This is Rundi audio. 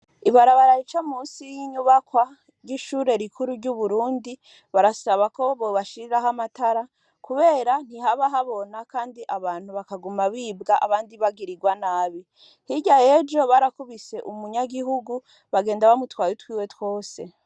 Ibarabara ricamusi y'inyubakwa ry'ishure rikuru ry'uburundi barasaba ko bobashiriraho amatara, kubera ntihaba habona, kandi abantu bakaguma bibwa abandi bagirirwa nabi, hirya yejo barakubise umunyagihugu bagenda bamutwaye utwiwe twose.